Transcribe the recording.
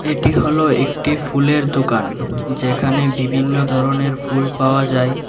এটি হলো একটি ফুলের দোকান যেখানে বিভিন্ন ধরনের ফুল পাওয়া যায়।